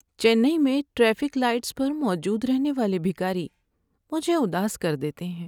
چنئی میں traffic lights پر موجود رہنے والے بھکاری مجھے اداس کر دیتے ہیں۔